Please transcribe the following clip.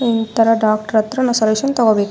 ಆಹ್ಹ್ ಇತರ ನಾವು ಡಾಕ್ಟರ್ ಹತ್ರ ಸೊಲ್ಯೂಷನ್ ತಕೋಬೇಕು .